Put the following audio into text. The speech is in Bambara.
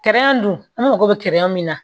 dun an mago bɛ min na